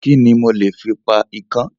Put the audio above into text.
Kíni mo lè fi pa ikán?